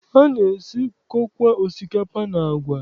Ana-esikọkwa osikapa and agwa.